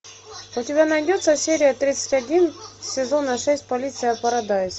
у тебя найдется серия тридцать один сезона шесть полиция парадайз